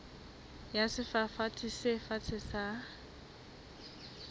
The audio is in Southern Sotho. ya sefafatsi se fatshe sa